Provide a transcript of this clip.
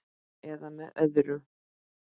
. eða með öðrum